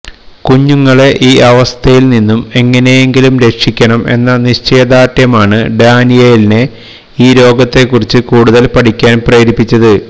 കുഞ്ഞുങ്ങളെ ഈ അവസ്ഥയില് നിന്നും എങ്ങനെയെങ്കിലും രക്ഷിക്കണം എന്ന നിശ്ചയദാര്ഢ്യമാണ് ഡാനിയേലിനെ ഈ രോഗത്തെ കുറിച്ചു കൂടുതല് പഠിക്കാന് പ്രേരിപ്പിച്ചത്